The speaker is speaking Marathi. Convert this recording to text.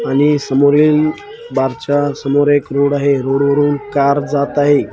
आणि समोरील बार च्या समोर एक रोड आहे रोड वरून कार जात आहे.